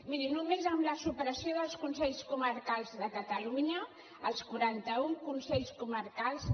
miri només amb la supressió dels consells comarcals de catalunya els quaranta un consells comarcals